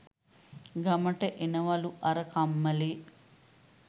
ගමට එනවලු අර කම්මලේ